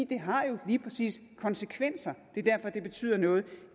det har jo lige præcis konsekvenser det er derfor det betyder noget